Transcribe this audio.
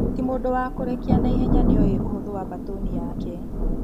Timũndũ wa kũrekia naihenya nĩoĩ ũhũthũ wa mbatũni yake.